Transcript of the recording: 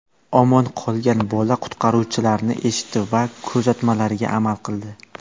Omon qolgan bola qutqaruvchilarni eshitdi va ko‘rsatmalariga amal qildi.